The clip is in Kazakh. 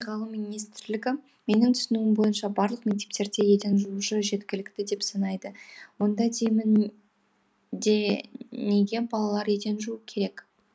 ғалым министрлігі менің түсінуім бойынша барлық мектептерде еден жуушы жеткілікті деп санайды онда деймін де неге балалар еден жууы керек